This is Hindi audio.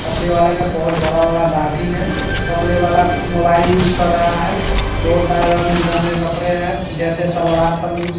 कपड़े वाले का बहोत बड़ा-बड़ा दाढ़ी है कपड़े वाला मोबाइल यूज कर रहा है बहोत सारे रंग-बिरंगे कपड़े है जैसे सलवार समीज।